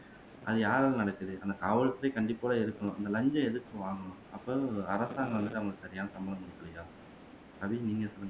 அது யாரால நடக்குது அந்த காவல்துறை கண்டிப்போட இருக்கணும் இந்த இலஞ்சம் எதுக்கு வாங்கணும் அப்ப வந்து அரசாங்கம் வந்துட்டு அவங்களுக்கு சரியான சம்பளம் குடுக்கல்லயா ரவி நீங்க சொல்லுங்க